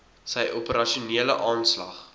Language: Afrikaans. sy operasionele aanslag